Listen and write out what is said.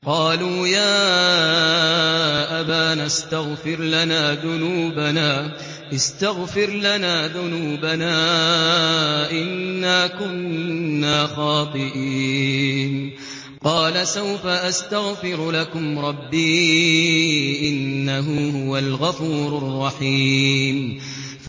قَالُوا يَا أَبَانَا اسْتَغْفِرْ لَنَا ذُنُوبَنَا إِنَّا كُنَّا خَاطِئِينَ